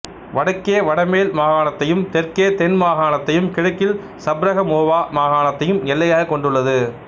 வடக்கே வடமேல் மாகாணத்தையும் தெற்கே தென் மாகாணத்தையும் கிழக்கில் சப்ரகமுவா மாகாணத்தையும் எல்லையாகக் கொண்டுள்ளது